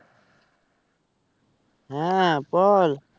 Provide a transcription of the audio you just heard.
হ্যাঁ বল